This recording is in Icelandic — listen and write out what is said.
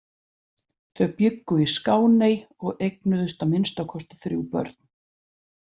Þau bjuggu í Skáney og eignuðust að minnsta kosti þrjú börn.